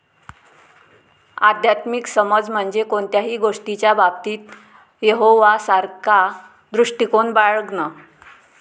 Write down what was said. आध्यात्मिक समज म्हणजे कोणत्याही गोष्टीच्या बाबतीत यहोवासारखा दृष्टिकोन बाळगणं.